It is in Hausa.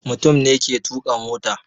Mutum ne ke tuka mota.